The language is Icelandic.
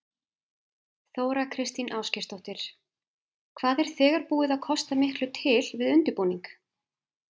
Þóra Kristín Ásgeirsdóttir: Hvað er þegar búið að kosta miklu til við undirbúning?